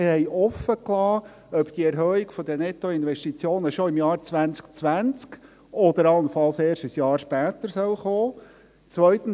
Wir liessen offen, ob die Erhöhung der Nettoinvestitionen schon im Jahr 2020 oder allenfalls erst ein Jahr später kommen soll.